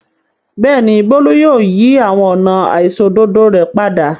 Bẹ́ẹ̀ ni, Bólú yóò yí àwọn ọ̀nà àìṣòdodo rẹ̀ padà.